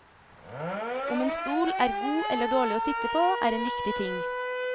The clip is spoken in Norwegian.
Om en stol er god eller dårlig å sitte på, er en viktig ting.